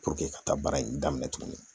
ka taa baara in daminɛ tugun